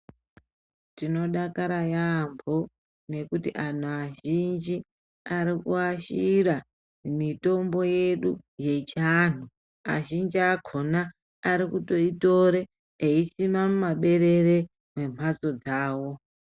Tinodakara yaamho ngekuti antu azhinji arikuashira mitombo yedu yechiantu. Azhinji akhona akutoitore eisime mumaberere emhatso dzawo.